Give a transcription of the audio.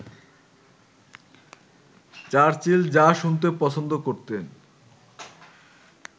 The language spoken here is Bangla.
চার্চিল যা শুনতে পছন্দ করতেন